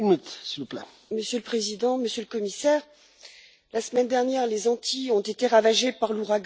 Monsieur le Président, Monsieur le Commissaire, la semaine dernière les Antilles ont été ravagées par l'ouragan Irma.